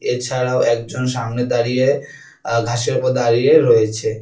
এছাড়াও একজন সামনে দাঁড়িয়ে আ ঘাসের উপর দাঁড়িয়ে রয়েছে।